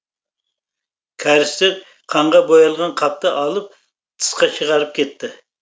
кәрістер қанға боялған қапты алып тысқа шығарып кетті